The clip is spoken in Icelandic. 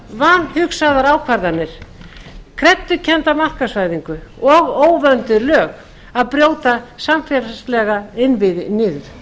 vanhugsaðar ákvarðanir kreddukennda markaðsvæðingu og óvönduð lög að brjóta samfélagslega innviði niður